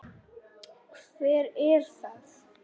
Hver er það?